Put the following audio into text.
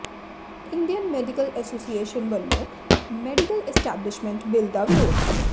Indian medical association ਵੱਲੋਂ medical establishment bill ਦਾ ਵਿਰੋਧ